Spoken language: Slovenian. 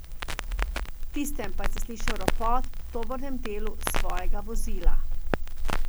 V tistem pa je zaslišal ropot v tovornem delu svojega vozila.